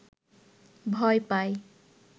ভয় পায়